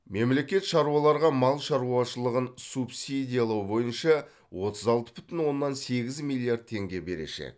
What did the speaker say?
мемлекет шаруаларға мал шаруашылығын субсидиялау бойынша отыз алты бүтін оннан сегіз миллиард теңге берешек